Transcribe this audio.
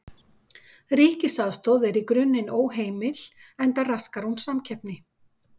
Ríkisaðstoð er í grunninn óheimil enda raskar hún samkeppni.